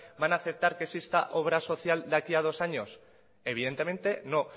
van a aceptar que exista obra social de aquí a dos años evidentemente no